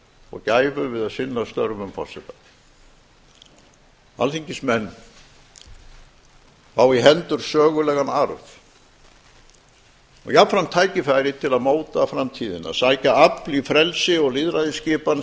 og gæfu við að sinna störfum forseta alþingismenn fá í hendur sögulegan arf og jafnframt tækifæri til að móta framtíðina sækja afl í frelsi og lýðræðisskipan